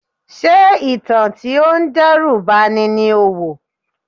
Ṣé ìtàn tí ó ń dẹ́rù ba ni ni o wò?